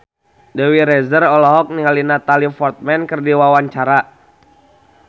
Dewi Rezer olohok ningali Natalie Portman keur diwawancara